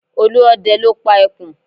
Olúọdẹ ló pa ẹkùn